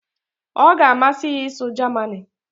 ọ ga-amasị ya ịsụ Germani